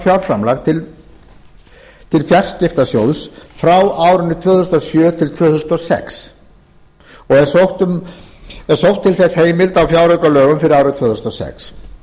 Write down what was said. fjárframlag til fjarskiptasjóðs frá árinu tvö þúsund og sjö til tvö þúsund og sex það er sótt til þess heimild á fjáraukalögum fyrir árið tvö þúsund og sex